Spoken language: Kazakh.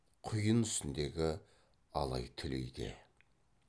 құйын үстіндегі алай түлейде